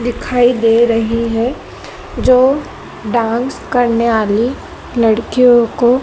दिखाई दे रहे हैं जो डांस करने वाले लड़कियों को--